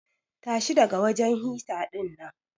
Tashi daga wajen hita dinnan.